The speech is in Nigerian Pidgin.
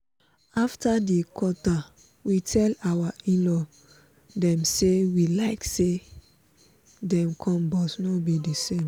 after di quata we tell our in-law dem say we like say dem come but no be the same